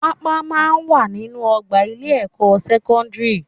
Pápá máa ń wà nínú ọgbà ilé-ẹ̀kọ́ sẹ́kọ́ndírì